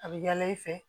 A bɛ yaala i fɛ